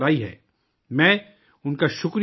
میں ان کا شکریہ ادا کرتا ہوں